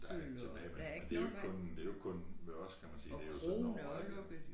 Der ét tilbage men det jo ikke kun det jo ikke kun med os kan man sige det jo sådan overalt jo